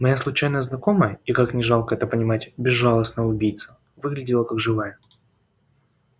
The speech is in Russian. моя случайная знакомая и как ни жалко это понимать безжалостная убийца выглядела как живая